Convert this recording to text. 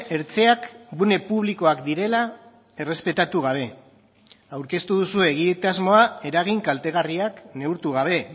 hertzeak gune publikoak direla errespetatu gabe aurkeztu duzue egitasmoa eragin kaltegarriak neurtu gabe